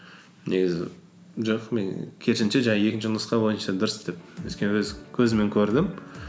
негізі жоқ мен керісінше жаңағы екінші нұсқа бойынша дұрыс деп өйткені өз көзіммен көрдім